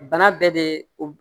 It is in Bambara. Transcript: Bana bɛɛ de o